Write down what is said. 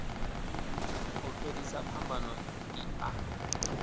u fhelisa phambano i a